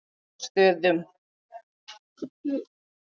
Narfastöðum